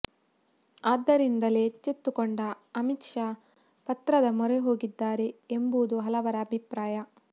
ಆದ್ದರಿಂದಲೇ ಎಚ್ಚೆತ್ತುಕೊಂಡ ಅಮಿತ್ ಶಾ ಪತ್ರದ ಮೊರೆ ಹೋಗಿದ್ದಾರೆ ಎಂಬುದು ಹಲವರ ಅಭಿಪ್ರಾಯ